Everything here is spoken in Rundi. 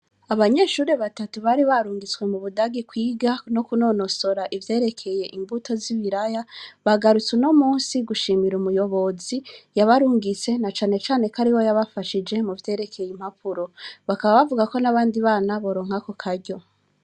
Abanyeshuri batatu bari barungitswe mu Budagi kwiga no kunonosora ivyerekeye imbuto z'ibiraya, bagarutse uno musi gushimira umuyobozi yabarungitse, na cane ko ariwe yabafashije mu vyerekeye impapuro. Bakaba bavuga ko n'abandi bana boronka ako karyo.